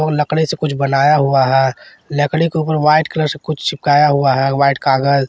लकड़ी से कुछ बनाया हुआ है लकड़ी के ऊपर व्हाइट कलर से कुछ चिपकाया हुआ है व्हाइट कागज।